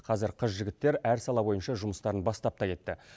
қазір қыз жігіттер әр сала бойынша жұмыстарын бастап та кетті